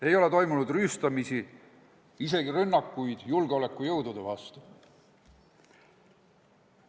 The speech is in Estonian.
Ei ole toimunud rüüstamisi, pole isegi rünnakuid julgeolekujõudude vastu.